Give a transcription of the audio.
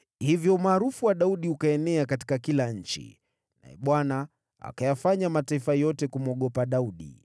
Hivyo umaarufu wa Daudi ukaenea katika kila nchi, naye Bwana akayafanya mataifa yote kumwogopa Daudi.